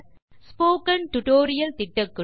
spoken tutorial திட்டக்குழு